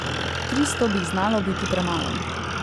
Tristo bi jih znalo biti premalo.